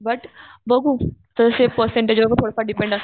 but बघूतर्फे percent वर पण थोडंफार डिपेंड असतं